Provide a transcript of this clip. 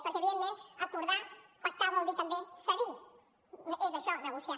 perquè evidentment acordar pactar vol dir també cedir és això negociar